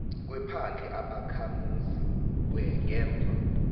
kwephandle ubakhamuzi ngemva